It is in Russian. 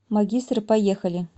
магистр поехали